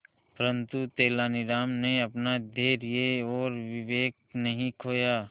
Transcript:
परंतु तेलानी राम ने अपना धैर्य और विवेक नहीं खोया